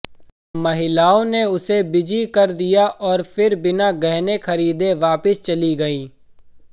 महिलाओं ने उसे बिजी कर दिया और फिर बिना गहने खरीदे वापस चली गई